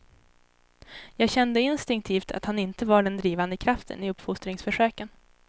Jag kände instinktivt att han inte var den drivande kraften i uppfostringsförsöken.